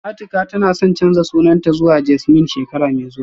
Atika tana son canza sunanta zuwa Jasmine shekara mai zuwa